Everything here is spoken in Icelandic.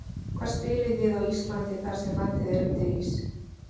Hvar spilið þið á Íslandi þar sem landið er undir ís?